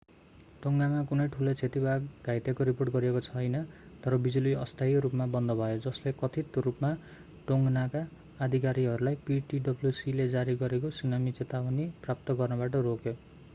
टोङ्गामा कुनै ठूलो क्षति वा घाइतेको रिपोर्ट गरिएको छैन तर बिजुली अस्थायी रूपमा बन्द भयो जसले कथित रूपमा टोङ्गनका अधिकारीहरूलाई ptwc ले जारी गरेको सुनामी चेतावनी प्राप्त गर्नबाट रोक्यो